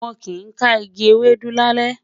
wón kí n ká ìgi Ewédú lalẹ